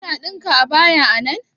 Kuna ɗinka abaya a nan?